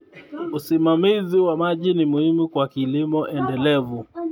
Usimamizi wa maji ni muhimu kwa kilimo endelevu.